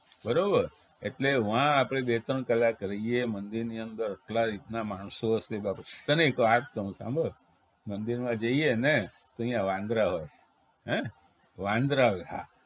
બરોબર એટલે વા આપણે બે ત્રણ કલાક રહીએ મંદિરની અંદર ક્યાં રીતના માણસો હશે તને એક વાત કવ સાંભળ મંદિરમાં જઈએને તો ઈયા વાંદરા હોય હે વાંદરા હોય હા